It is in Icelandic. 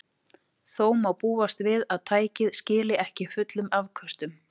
Þó má búast við að tækið skili ekki fullum afköstum.